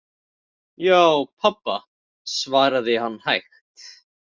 Já, pabba, svaraði hann hægt.